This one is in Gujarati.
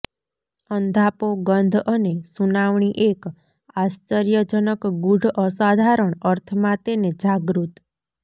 અંધાપો ગંધ અને સુનાવણી એક આશ્ચર્યજનક ગૂઢ અસાધારણ અર્થમાં તેને જાગૃત